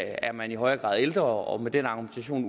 er man i højere grad ældre og med den argumentation